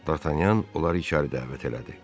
Dartanyan onları içəri dəvət elədi.